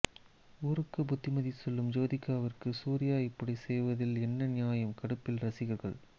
ஊருக்கு புத்திமதி சொல்லும் ஜோதிகாவிற்கு சூர்யா இப்படி செய்வதில் என்ன நியாயம் கடுப்பில் ரசிகர்கள்